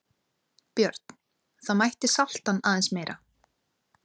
Björn: Það mætti salta hann aðeins meira?